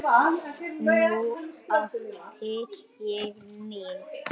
Nú átti ég mig.